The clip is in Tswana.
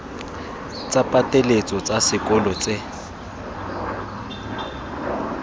tsa pateletso tsa sekolo tse